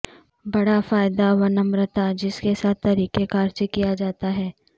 بڑا فائدہ ونمرتا جس کے ساتھ طریقہ کار سے کیا جاتا ہے ہے